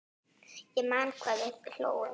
Ég man hvað við hlógum.